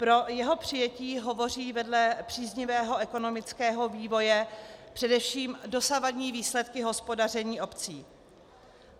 Pro jeho přijetí hovoří vedle příznivého ekonomického vývoje především dosavadní výsledky hospodaření obcí.